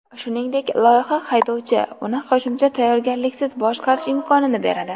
Shuningdek, loyiha haydovchi uni qo‘shimcha tayyorgarliksiz boshqarish imkonini beradi.